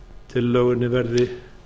tillögunni verði